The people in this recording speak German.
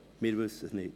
Wir wissen es nicht.